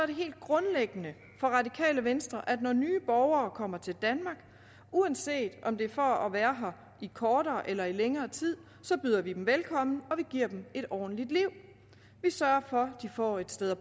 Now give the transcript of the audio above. det helt grundlæggende for radikale venstre at når nye borgere kommer til danmark uanset om det er for at være her i kortere eller længere tid byder vi dem velkommen og vi giver dem et ordentligt liv vi sørger for at de får et sted at